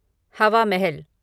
हवा महल